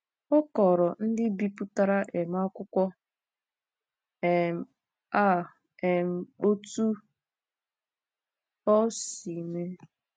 Ọ kọọrọ ndị bipụtara um akwụkwọ um a um otú o si mee.